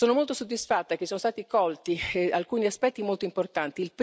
Sono molto soddisfatta che siano stati colti alcuni aspetti molto importanti.